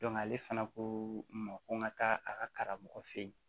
ale fana ko ma ko n ka taa a ka karamɔgɔ fɛ yen